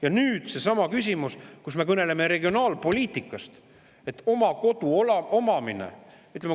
Ja nüüd on seesama, kui me kõneleme regionaalpoliitikast, oma kodu omamisest.